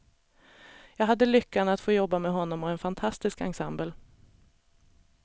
Jag hade lyckan att få jobba med honom och en fantastisk ensemble.